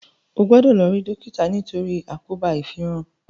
o gbódò lò ri dókítà nitori àkóbá ifinran!